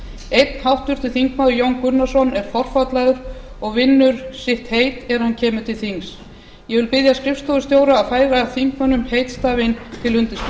einn háttvirtur þingmaður jón gunnarsson er forfallaður og vinnur sitt heit þegar hann kemur til þings ég vil biðja skrifstofustjóra að færa þingmönnum eiðstafinn til